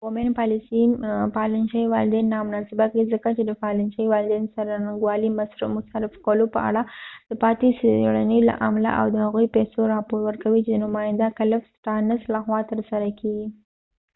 د کومین پالیسي پالن شوې والدین نامناسبه کړې ځکه چې د پالن شوي والدین څرنګوالي مصرف کولو په اړه د پاتې څیړنې له امله اؤ د هغې پیسو راپور ورکوي چې د نماینده کلف سټارنس لخوا ترسره کیږي